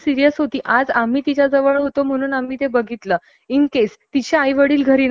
आणि जर तिला जर त्रास जास्त झाला असता तर मे बी आज तीन तिची ऐकण्याची जी कॅपॅसिटी आहे तिची